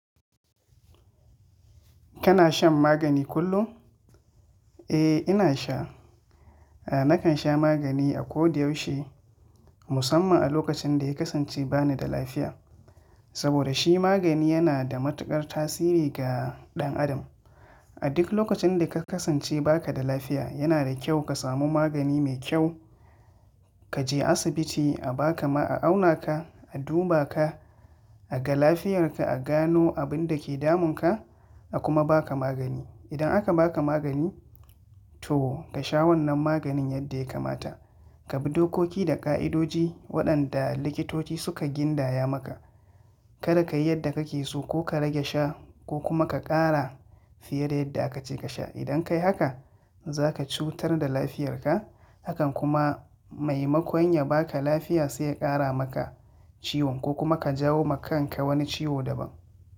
Kana shan magani kullum? Eh ina sha. Nakan sha magani a kodayaushe musamman a lokacin da ya kasance ba ni da lafiya. Saboda shi magani yana da matukar tasiri ga ɗan adam. A duk lokacin da ka kasance ba ka da lafiya yana da kyau ka samu magani mai kyau, ka je asibiti a baka ma a auna ka, a duba ka, a ga lafiyarka, a gano abin da ke damun ka a kuma ba ka magani. Idan aka ba ka magani to ka sha wannan maganin yadda ya kamata. Ka bi dokoki da ƙa'idoji waɗanda likitoci suka gindaya maka. Kada ka yi yadda kake so ko ka rage sha ko kuma ka ƙara fiye da yadda aka ce ka sha. Idan ka yi haka za ka cutar da lafiyarka hakan kuma maimakon ya ba ka lafiya sai ya ƙara maka ciwon ko kuma ka jawo ma kanka wani ciwo daban.